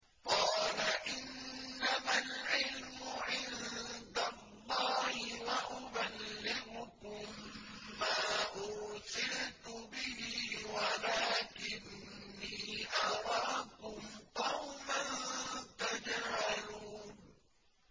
قَالَ إِنَّمَا الْعِلْمُ عِندَ اللَّهِ وَأُبَلِّغُكُم مَّا أُرْسِلْتُ بِهِ وَلَٰكِنِّي أَرَاكُمْ قَوْمًا تَجْهَلُونَ